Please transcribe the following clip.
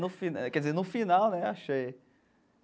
No fim quer dizer, no final, né Axé.